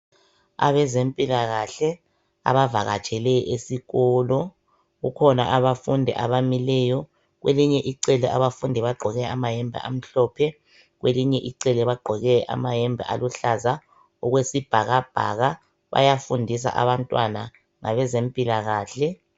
Abezempilakahle abavakatshele esikolo .Kukhona abafundi abamileyo kwelinye icele abafundi bagqoke amayembe amhlophe kwelinye icele bagqoke amayembe aluhlaza okwesibhakabhaka bayafundisa abantwana ngabezempilakahle.